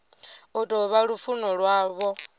u tou vha lufuno lwavho